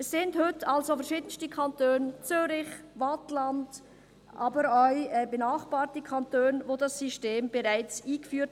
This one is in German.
Es haben heute also verschiedenste Kantone – Zürich, Waadt, aber auch benachbarte Kantone – das System bereits eingeführt.